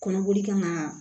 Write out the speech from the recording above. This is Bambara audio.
Kɔnɔboli kan ka